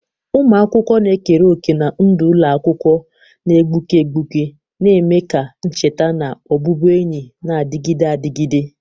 Ụmụ akwụkwọ na-ekere òkè na ndụ ụlọ akwụkwọ na-egbuke egbuke, na-eme ka ncheta na ọbụbụenyi na-adịgide adịgide..